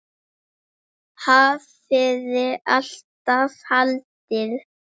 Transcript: Hafði alltaf haldið.